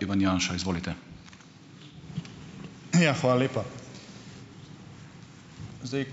Ivan Janša, izvolite. Ja, hvala lepa. Zdaj,